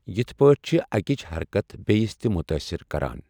یِتھ پٲٹھہِ چھےٚ اَکِِچ حرکت بیٚیِس تہِ مُتٲثِر کَران۔